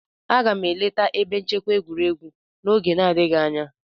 Aga m eleta ebe nchekwa egwuregwu n'oge n'adịghị anya.